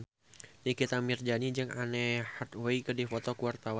Nikita Mirzani jeung Anne Hathaway keur dipoto ku wartawan